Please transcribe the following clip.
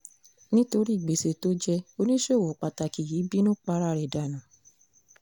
nítorí gbèsè tó jẹ́ oníṣòwò pàtàkì yìí bínú para ẹ̀ dànù